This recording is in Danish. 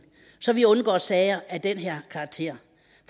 så vi undgår sager af den her karakter